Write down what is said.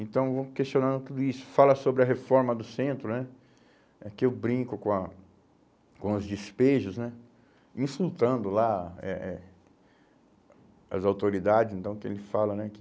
Então, vou questionando tudo isso, fala sobre a reforma do centro né, que eu brinco com a com os despejos né, insultando lá eh eh as autoridades, então, que ele fala né que